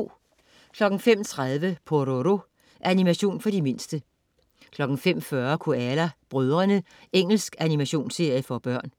05.30 Pororo. Animation for de mindste 05.40 Koala brødrene. Engelsk animationsserie for små børn